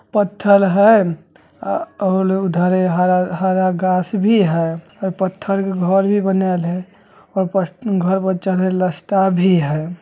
पत्थर हेय और उधर हरा-हरा गाछ भी हेयऔर पत्थर के घर भी बनाएल हेय घर पर चढ़े ले रास्ता भी हेय।